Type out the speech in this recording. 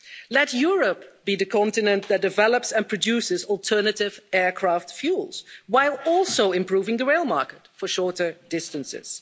Let Europe be the continent that develops and produces alternative aircraft fuels while also improving the rail market for shorter distances.